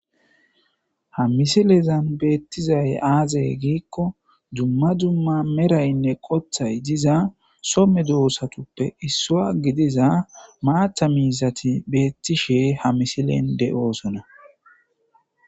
ha misilezan beettizay aazey giikko jumma jumma meraynne qothay diza somme doossatuppe issua gidiza maatha miizati beettishe ha misilen de7oosona